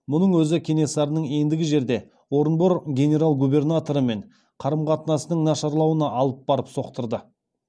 мұның өзі кенесарының ендігі жерде орынбор генерал губернаторымен қарым қатынасының нашарлауына алып барып соқтырды